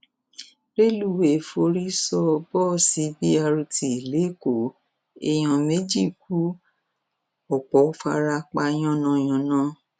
rẹlùwéè forí sọ bọọsì b rt lẹkọọ èèyàn méjì ku ọpọ fara pa yánnayànna